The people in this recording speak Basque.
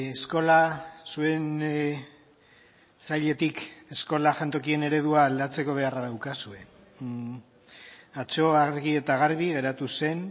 eskola zuen sailetik eskola jantokien eredua aldatzeko beharra daukazue atzo argi eta garbi geratu zen